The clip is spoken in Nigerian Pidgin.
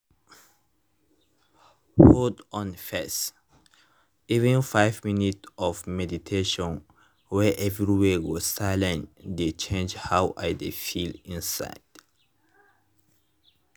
hold on first— even five minute of meditation wey everywhere go silient dey change how i dey feel inside